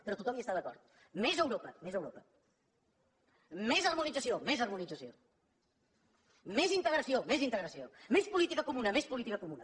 però tothom hi està d’acord més europa més europa més harmonització més harmonització més integració més integració més política comuna més política comuna